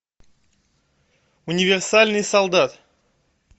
универсальный солдат